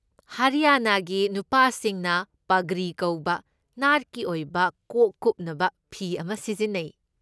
ꯍꯔꯤꯌꯥꯅꯥꯒꯤ ꯅꯨꯄꯥꯁꯤꯡꯅ ꯄꯒ꯭ꯔꯤ ꯀꯧꯕ ꯅꯥꯠꯀꯤ ꯑꯣꯏꯕ ꯀꯣꯛ ꯀꯨꯞꯅꯕ ꯐꯤ ꯑꯃ ꯁꯤꯖꯤꯟꯅꯩ꯫